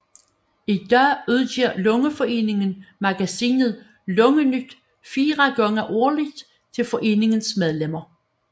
I dag udgiver Lungeforeningen magasinet Lungenyt 4 gange årligt til foreningens medlemmer